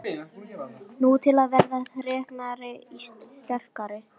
Nú, til að verða þreknari og sterkari